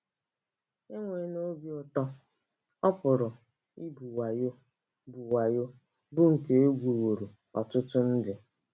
Enwela obi ụtọ— ọ pụrụ ịbụ wayo, bụ́ wayo, bụ́ nke e gwuworo ọtụtụ ndị.